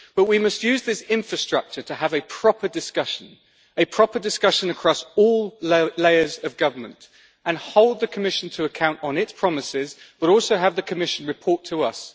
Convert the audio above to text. But we must use this infrastructure to have a proper discussion a proper discussion across all layers of government and hold the Commission to account on its promises, but also have the Commission report to us.